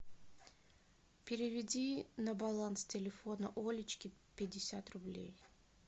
переведи на баланс телефона олечке пятьдесят рублей